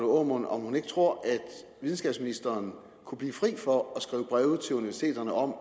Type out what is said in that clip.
aamund om hun ikke tror at videnskabsministeren kunne blive fri for at skrive breve til universiteterne om